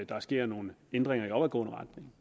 der sker nogle ændringer i opadgående retning